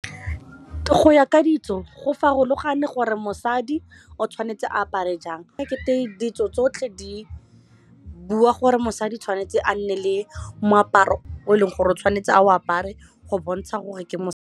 Go ya ka ditso go farologane gore mosadi o tshwanetse a apare jang ekete ditso tsotlhe di bua gore mosadi tshwanetse a nne le moaparo o e leng gore o tshwanetse a o apare go bontsha gore ke .